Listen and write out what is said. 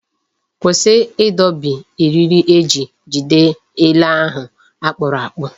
Kwụsị ịdọbi eriri eji jide ele ahụ akpụrụ akpụ!